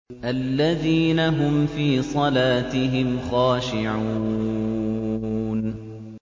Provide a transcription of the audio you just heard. الَّذِينَ هُمْ فِي صَلَاتِهِمْ خَاشِعُونَ